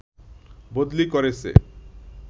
বদলি করেছে